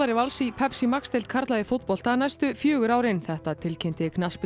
Vals í Pepsi Max deild karla í fótbolta næstu fjögur árin þetta tilkynnti